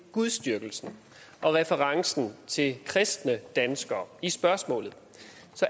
gudsdyrkelsen og referencen til kristne danskere i spørgsmålet